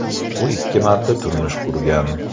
U ikki marta turmush qurgan.